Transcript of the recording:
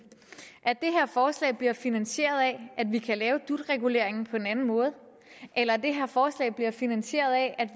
at det her forslag bliver finansieret af at vi kan lave dut reguleringen på en anden måde eller at det her forslag bliver finansieret af at